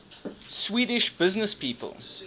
swedish businesspeople